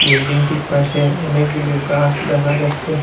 বিল্ডিংটির পাশে অনেকগুলো গাছ দেখা যাচ্ছে।